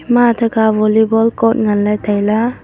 ema athe kha volleyball cot ngan ley tai.